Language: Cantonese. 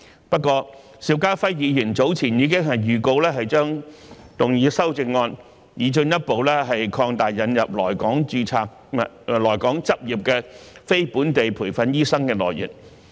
不過，邵家輝議員早前已預告將動議修正案，擬進一步擴大引入來港執業的非本地培訓醫生的來源。